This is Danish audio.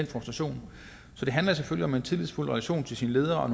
frustration så det handler selvfølgelig om en tillidsfuld relation til sin leder og